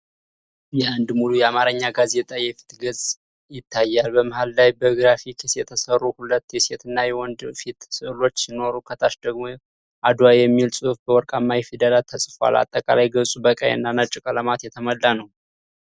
የአንድ ሙሉ የአማርኛ ጋዜጣ የፊት ገጽ ይታያል። በመሃል ላይ በግራፊክስ የተሰሩ ሁለት የሴትና የወንድ ፊት ሥዕሎች ሲኖሩ፤ ከታች ደግሞ “አድዋ” የሚል ጽሑፍ በወርቃማ ፊደላት ተጽፏል። አጠቃላይ ገጹ በቀይ እና ነጭ ቀለማት የተሞላ ነው።